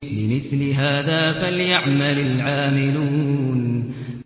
لِمِثْلِ هَٰذَا فَلْيَعْمَلِ الْعَامِلُونَ